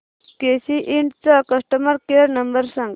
केसी इंड चा customer care number सांग